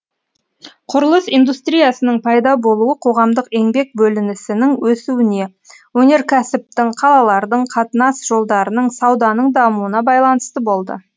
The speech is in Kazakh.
құрылыс индустриясының пайда болуы қоғамдық еңбек бөлінісінің өсуіне өнеркәсіптің қалалардың қатынас жолдарының сауданың дамуына байланысты болды